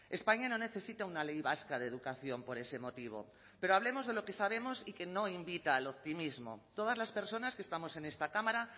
españa no necesita una ley vasca de educación por ese motivo pero hablemos de lo que sabemos y que no invita al optimismo todas las personas que estamos en esta cámara